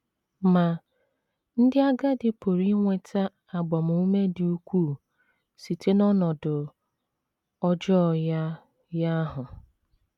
Ma, ndị agadi pụrụ inweta agbamume dị ukwuu site n’ọnọdụ ọjọọ ya ya ahụ.